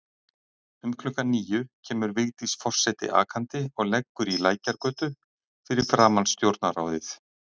Um klukkan níu kemur Vigdís forseti akandi og leggur í Lækjargötu fyrir framan Stjórnarráðið.